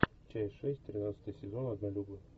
часть шесть тринадцатый сезон однолюбы